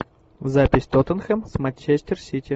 запись тоттенхэм с манчестер сити